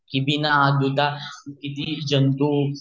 की बिन हात धूता किती जंतु